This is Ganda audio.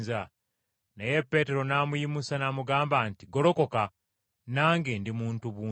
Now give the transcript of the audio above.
Naye Peetero n’amuyimusa n’amugamba nti, “Golokoka! Nange ndi muntu buntu.”